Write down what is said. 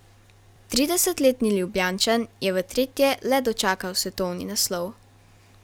Tridesetletni Ljubljančan je v tretje le dočakal svetovni naslov.